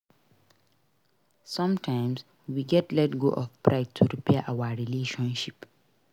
Sometimes we gats let go of pride to repair our relationship.